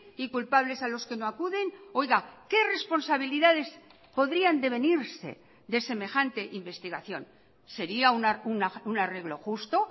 y culpables a los que no acuden oiga qué responsabilidades podrían devenirse de semejante investigación sería un arreglo justo